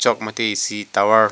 chok mate isi towar .